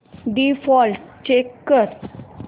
default change कर